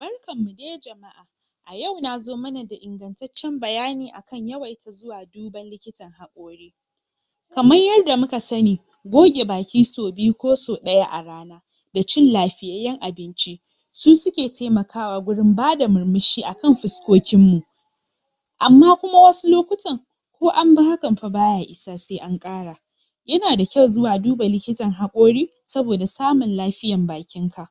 Barkanmu dai jama'a! a yau nazo mana da ingantaccen bayani akan yawaita zuwa duban likita kamar yanda muka sanni goge baki sau sau biyu ko sau ɗaya a rana da cin lafiyayyen abinci su suke taimakawa gurin bada murmushi akan fuskokin mu amma kuma wasu lokutan ko anbi hakan fah baya isa sai an ƙara yana da kyau zuwa duba likitan haƙori saboda samun lafiyan bakin ka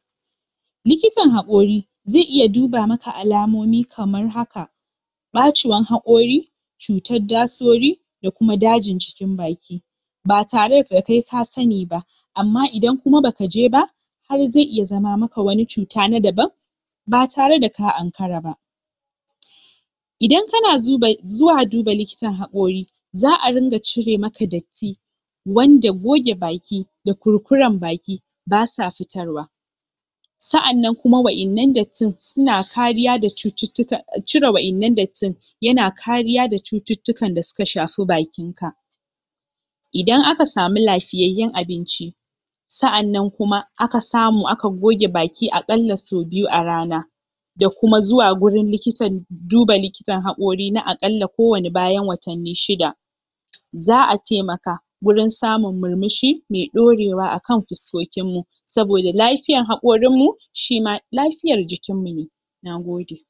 likitan haƙori zai iya duba maka alamomi kamar haka ɓacewan haƙori cutar dasori da kuma dajin cikin baki ba tare da kai ka sanni ba amma idan kuma baka je ba har zai iya zama maka wani cuta na daban ba tare da ka ankara ba idan kana zuba zuwa duba likitan haƙori za'a rinƙa cire maka datti wanda goge baki da kurkuran baki basa fitarwa sa'annan kuma wa'innan dattin suna kariya da cututtuka cire wa'innan dattin yana kariya da cututtukan da suka shafi bakin ka idan aka samu lafiyayyen abinci sa'annan kuma aka samu aka goge baki ki a ƙalla sau biyu a rana da kuma zuwa gurin likitan duba likitan haƙori na aƙalla ko wane bayan watanni shida za'a taimaka gurin samun murmushi mai ɗorewa akan fuskokin mu saboda lafiyan haƙorin mu shima lafiyar jikinmu ne Nagode!